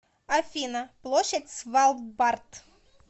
афина площадь свалбард